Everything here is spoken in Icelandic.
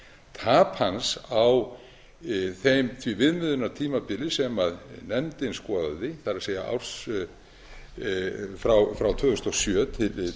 tap hans á því viðmiðunartímabili sem nefndin skoðaði það er frá tvö þúsund og sjö til